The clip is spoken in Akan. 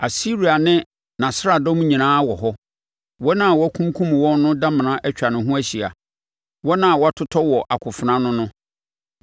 “Asiria ne nʼasraadɔm nyinaa wɔ hɔ, wɔn a wakunkum wɔn no damena atwa ne ho ahyia, wɔn a wɔatotɔ wɔ akofena ano no.